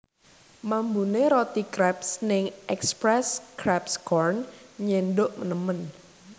Mambune roti kreps ning Express Crepes Corn nyenduk nemen